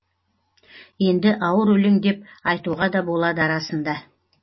енді ауыр өлең деп айтуға да болады арасында